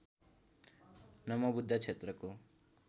नमो बुद्ध क्षेत्रको